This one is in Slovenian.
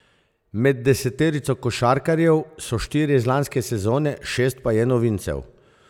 Med deseterico košarkarjev so štirje iz lanske sezone, šest pa je novincev.